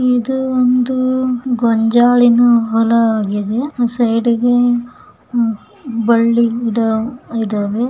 ಇದು ಒಂದು ಗೊಂಜಾಲಿನ ಹೊಳಗಿದೆ ಸ್ಯ್ದಿಗೆ ಹಾಂ ಬಳ್ಳಿ ಗಿಡ ಇದಾವೆ.